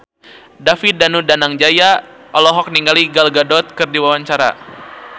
David Danu Danangjaya olohok ningali Gal Gadot keur diwawancara